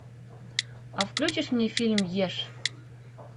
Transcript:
а включишь мне фильм ешь